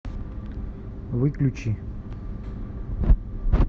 выключи